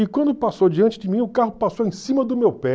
E quando passou diante de mim, o carro passou em cima do meu pé.